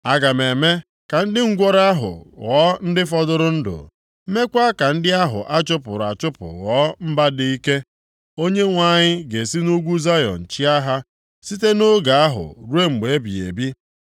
Aga m eme ka ndị ngwụrọ ahụ ghọọ ndị fọdụrụ ndụ, meekwaa ka ndị ahụ a chụpụrụ achụpụ ghọọ mba dị ike. Onyenwe anyị ga-esi nʼugwu Zayọn chịa ha site nʼoge ahụ ruo mgbe ebighị ebi.